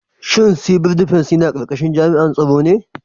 Shin Civil Defence yana karkashin jami'an tsaro ne?